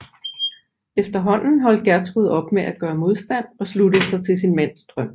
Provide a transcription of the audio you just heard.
Efterhånden holdt Gjertrud op med at gøre modstand og sluttede sig til sin mands drøm